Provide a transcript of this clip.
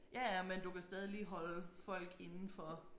Ja ja men du kan stadig lige holde folk indenfor